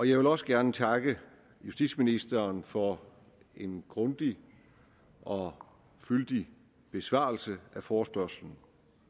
jeg vil også gerne takke justitsministeren for en grundig og fyldig besvarelse af forespørgslen